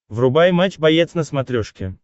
врубай матч боец на смотрешке